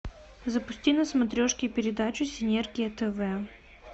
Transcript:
запусти на смотрешке передачу синергия тв